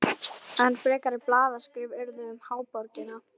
Enn frekari blaðaskrif urðu um háborgina.